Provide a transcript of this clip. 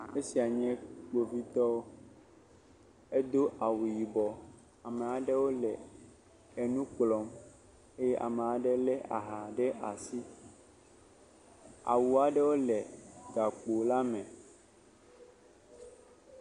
Esia nye Kpovitɔ. Edo awu yibɔ. Ame aɖewo le nu kplɔm eye ame aɖe lé aha ɖe asi. Awu aɖewo le gakpola me.